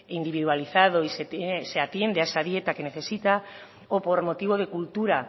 individualizado y se atiende a esa dieta que necesita o por motivo de cultura